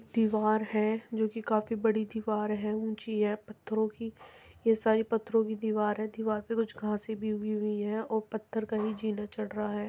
दीवार है जो की काफी बड़ी दीवार है ऊंची है पत्थरों की ये सारी पत्थर की दीवार है | दीवार पे कुछ घास भी उगी हुए है और पत्थर का ही